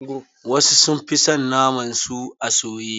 Wasu sun fi son naman su a soye.